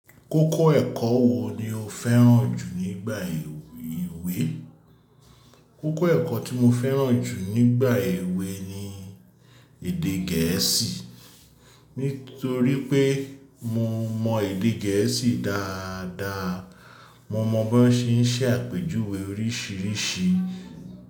Kókó ẹ̀kọ́ wo ni o fẹ́ràn jù nígbà èwe? Kókó ẹ̀kọ́ tí mo fẹ́ràn jù nígbà èwe ni èdè gẹ̀ẹ́sì. Nítorí pé mo mọ èdè gẹ̀ẹ́sì dáadaa. Mo mọ bí wọ́n ṣe ń ṣe àpéjúwe oríṣìíríṣìí.